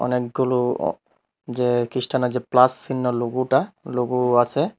অনেকগুলো আঃ যে খ্রিস্টানের যে প্লাস চিহ্ন লোগোটা লোগোও আসে।